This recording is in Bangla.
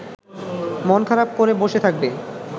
মন খারাপ করে বসে থাকবে